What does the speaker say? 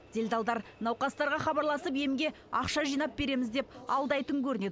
делдалдар науқастарға хабарласып емге ақша жинап береміз деп алдайтын көрінеді